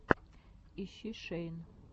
ищи шейн